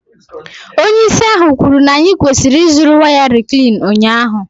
Onye isi ahụ kwuru na anyị kwesịrị ịzụrụ waya Reclean ụnyahụ.